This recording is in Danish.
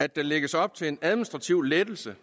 at der lægges op til en administrativ lettelse